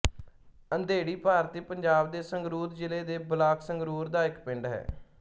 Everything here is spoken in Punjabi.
ਅੰਧੇੜੀ ਭਾਰਤੀ ਪੰਜਾਬ ਦੇ ਸੰਗਰੂਰ ਜ਼ਿਲ੍ਹੇ ਦੇ ਬਲਾਕ ਸੰਗਰੂਰ ਦਾ ਇੱਕ ਪਿੰਡ ਹੈ